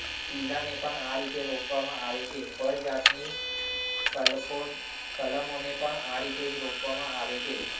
પિલાને પણ આ રીતે રોકવામાં આવે છે. ફળ જાતની કલકુંકલમોને પણ આ રીતે જ રોપવામાં આવે છે.